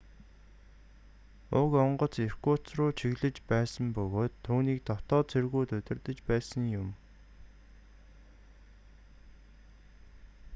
уг онгоц иркутск руу чиглэсэн байсан бөгөөд түүнийг дотоод цэргүүд удирдаж байсан юм